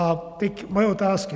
A teď moje otázky.